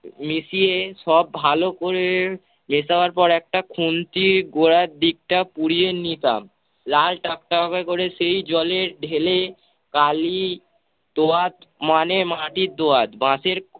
মিশিয়ে সব ভালো করে মেশাবার পরে একটা খুন্তিয়ে গোড়ার দিকটা পুড়িয়ে নিতাম। লাল টকটকে করে সেই জলে ঢেলে কালি দোয়াদ মানে মাটির দোয়াদ বাঁশের